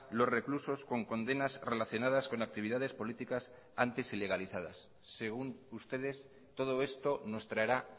los reclusos con condenas relacionadas con actividades políticas antes ilegalizadas según ustedes todo esto nos traerá